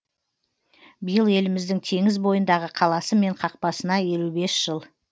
биыл еліміздің теңіз бойындағы қаласы мен қақпасына елу бес жыл